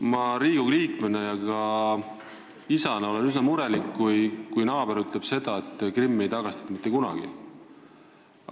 Ma olen Riigikogu liikmena ja ka isana üsna murelik, kui naaber ütleb seda, et Krimmi ei tagastata mitte kunagi.